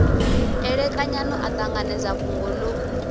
elekanyani a ṱanganedza fhungo ḽo